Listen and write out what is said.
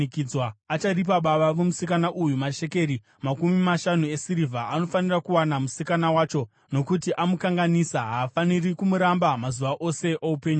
acharipa baba vomusikana uyu mashekeri makumi mashanu esirivha. Anofanira kuwana musikana wacho, nokuti amukanganisa. Haafaniri kumuramba mazuva ose oupenyu hwake.